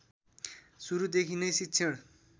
सुरुदेखि नै शिक्षण